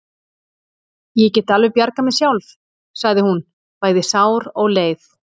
Ég get alveg bjargað mér sjálf, sagði hún, bæði sár og leið.